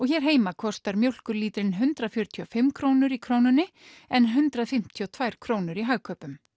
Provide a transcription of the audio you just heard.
hér heima kostar mjólkurlítrinn hundrað fjörutíu og fimm krónur í Krónunni en hundrað fimmtíu og tvær krónur í Hagkaupum